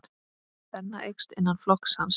Spenna eykst innan flokks hans.